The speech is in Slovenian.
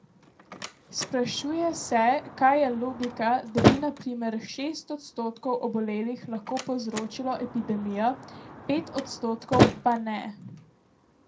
Sprašuje se, kje je logika, da bi na primer šest odstotkov obolelih lahko povzročilo epidemijo, pet odstotkov pa ne.